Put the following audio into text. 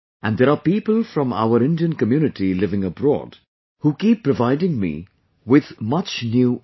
And there are people from our Indian community living abroad, who keep providing me with much new information